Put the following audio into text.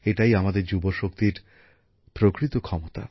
এটাই আমাদের যুবশক্তির প্রকৃত ক্ষমতা